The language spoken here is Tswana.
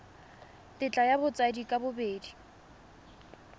tetla ya batsadi ka bobedi